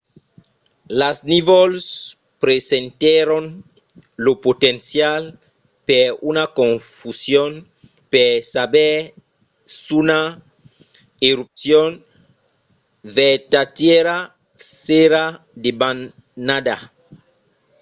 las nívols presentèron lo potencial per una confusion per saber s'una erupcion vertadièra s'èra debanada